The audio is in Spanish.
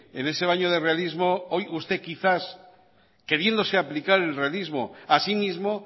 en ese baño de realismo hoy usted quizás queriéndose aplicar el realismo asimismo